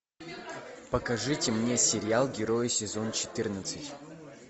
покажите мне сериал герои сезон четырнадцать